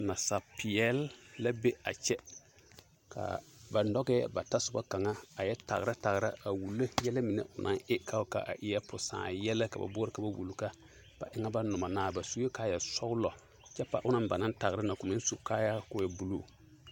Nasapeɛle la be a kyɛ ka ba nɔgɛɛ ba tasoba kaŋa a yɛ tagera tagera a wulo yɛlɛ mine o naŋ e k'a wuli ka a eɛ posãã yɛlɛ ka ba boɔrɔ ka ba wuli ka ba eŋɛ ba nomɔ naa, ba sue kaaya sɔgelɔ kyɛ k'a onaŋ ba naŋ tagera na k'o meŋ su kaayaa k'o e buluu.